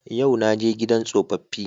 Yau na je gidan tsofaffi